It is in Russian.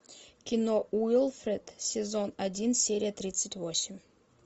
кино уилфред сезон один серия тридцать восемь